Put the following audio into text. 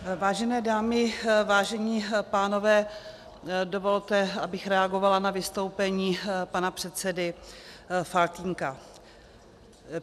Vážené dámy, vážení pánové, dovolte, abych reagovala na vystoupení pana předsedy Faltýnka.